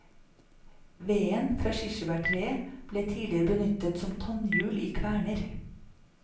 Veden fra kirsebærtreet ble tidligere benyttet som tannhjul i kverner.